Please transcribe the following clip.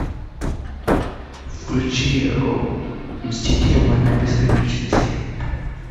включи мстители война бесконечности